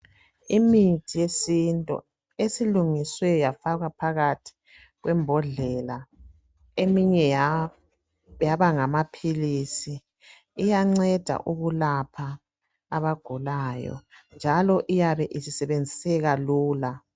Imithi yesintu esilungiswe yafakwa phakathi kwembodlela eminye yaba ngamaphilisi iyanceda ukulapha abagulayo njalo iyabe isisebenziseka lula.